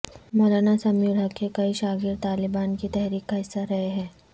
مولانا سمیع الحق کے کئی شاگرد طالبان کی تحریک کا حصہ رہے ہیں